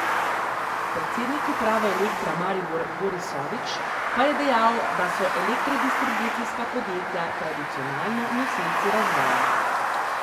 Predsednik uprave Elektra Maribor Boris Sovič pa je dejal, da so elektrodistribucijska podjetja tradicionalno nosilci razvoja.